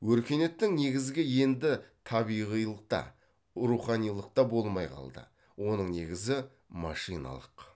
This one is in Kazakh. өркениеттің негізі енді табиғилық та руханилық та болмай қалды оның негізі машиналық